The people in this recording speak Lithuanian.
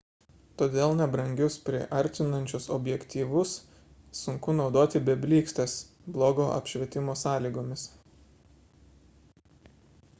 todėl nebrangius priartinančius objektyvus sunku naudoti be blykstės blogo apšvietimo sąlygomis